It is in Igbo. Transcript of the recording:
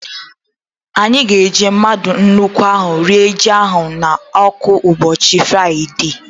Anyị ga-eji mmadụ nkwụ ahu rie ji ahụrụ n'ọkụ ụbọchị Fraịdee